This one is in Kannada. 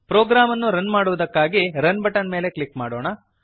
ಪ್ರೋಗ್ರಾಮ್ ಅನ್ನು ರನ್ ಮಾಡುವುದಕ್ಕಾಗಿ ರನ್ ಬಟನ್ ಮೇಲೆ ಕ್ಲಿಕ್ ಮಾಡೋಣ